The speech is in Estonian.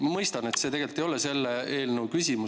Ma mõistan, et see tegelikult ei ole selle eelnõu küsimus.